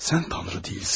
Sən Tanrı deyilsən.